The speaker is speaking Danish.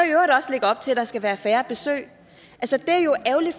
i op til at der skal være færre besøg